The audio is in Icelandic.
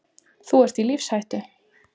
Þú ert í lífshættu.